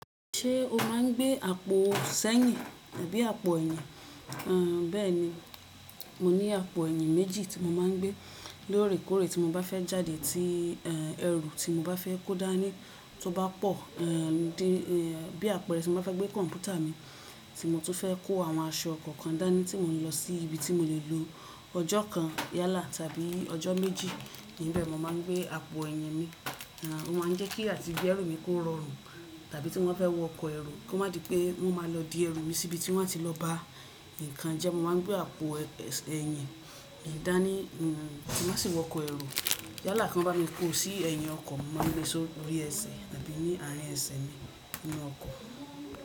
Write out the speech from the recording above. Ṣé o máa ń gbé àpò ẹ̀sẹ́ àbí àpò ẹ̀yìn? Àń, bẹ́ẹ̀ni. Mo ní àpò ẹ̀yìn méjì tí mo máa ń gbé. Lórèkórè tí mo bá fẹ́ jáde tí, ẹ́ ẹrù tí mo bá fẹ́ kó dání tó bá pọ̀, ẹ́ dí bí àpẹẹrẹ tí mo bá fẹ́ gbé kọ̀ǹpútà mi tí mo tó fẹ́ kó àwọn aṣọ kọ̀ọ̀kan dání tí mò ń lọ sí ibi tí mo lè lo ọjọ́ kan yálà tàbí ọjọ́ méjì. Ni bẹ́ẹ̀ mo máa ń gbé àpò ẹ̀yìn mi. Àń, ó máa ń jẹ́ kí àti bí ẹrú mi kó rọọrun tàbí tí wọ́n fẹ́ wọ ọkọ̀ ẹrù kó má di pé wọ́n máa lọ di ẹrú mi sí ibi tí wọ́n á ti lọ bá nǹkan jẹ́. Mo máa ń gbé àpò ẹsẹ̀ ẹyìn dani, ẹ́ mo má sì wọ ọkọ̀ ẹrù. Yálà kan bá mi kó o sí ẹ̀yìn ọkọ̀, mo máa ń gbé sọ́ lórí ẹsẹ̀ àbí ní àárín ẹsẹ̀ mi nínú ọkọ̀.